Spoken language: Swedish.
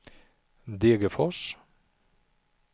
Degerfors